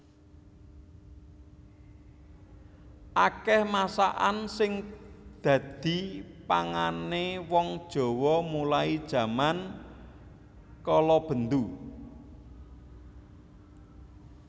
Akeh masakan sing dhadi pangane wong Jawa mulai jaman kalabendhu